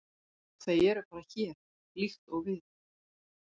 Þau eru bara hér, líkt og við.